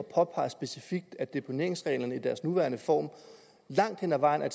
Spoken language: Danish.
påpeger specifikt at deponeringsreglerne i deres nuværende form langt hed ad vejen er